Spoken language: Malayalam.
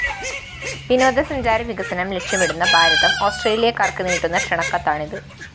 വിനോദസഞ്ചാര വികസനം ലക്ഷ്യമിടുന്ന ഭാരതം ഓസ്‌ട്രേലിയക്കാര്‍ക്ക് നീട്ടുന്ന ക്ഷണക്കത്താണിത്